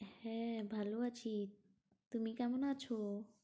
হ্যাঁ, ভালো আছি, তুমি কেমন আছো?